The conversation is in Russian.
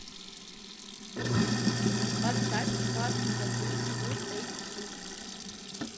поставь вас не догонят фулл эйч ди